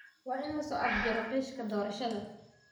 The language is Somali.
Waa in la soo afjaraa qishka doorashada.